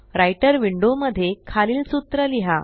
writer window मध्ये खालील सूत्र लिहा